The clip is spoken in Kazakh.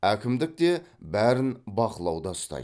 әкімдік те бәрін бақылауда ұстайды